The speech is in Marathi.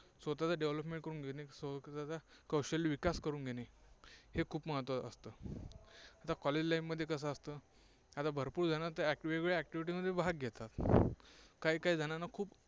स्वतःच्या development करून घेणे कौशल्य विकास करून घेणे हे खूप महत्त्वाचं असतं. आता College life मध्ये कसं असतं? भरपूर जणं वेगवेगळ्या activity मध्ये भाग घेतात, काही काही जणांना खूप